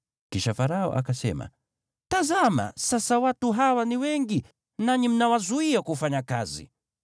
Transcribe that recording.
Kisha Farao akasema, “Tazama, sasa watu hawa ni wengi, nanyi mnawazuia kufanya kazi.”